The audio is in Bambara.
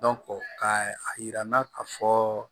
ka a yira n na ka fɔ